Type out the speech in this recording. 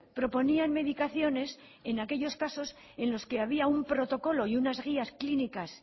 proponían medicaciones en aquellos casos en los que había un protocolo y unas guías clínicas